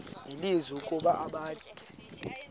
nelizwi ukuba abakhe